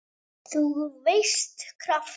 þú veist- krafta.